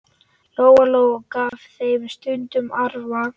Lóa-Lóa gaf þeim stundum arfa.